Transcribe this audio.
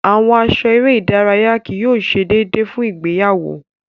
Awọn aṣọ ere idaraya kii yóò ṣe deede fun igbeyawo